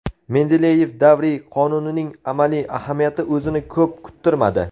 Mendeleyev davriy qonuning amaliy ahamiyati o‘zini ko‘p kuttirmadi.